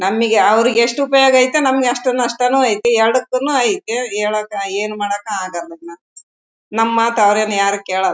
ನಮಿಗೆ ಅವ್ರಿಗೆ ಎಸ್ಟ್ ಉಪಯೋಗ ಇದೆಯೋ ನಮಿಗೆ ಅಷ್ಟು ನಷ್ಟ ನು ಇದೆ. ಎರಡಕ್ಕುನು ಇದೆ ಹೇಳಕ್ಕ ಏನ್ ಮಾಡಕ್ಕ ಆಗಲ್ಲಾ ನ ನಮ ಅವ್ರೆನ್ ಯಾರು ಕೇಳಲ್ಲಾ.